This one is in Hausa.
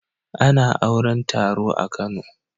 A na auran taro a kano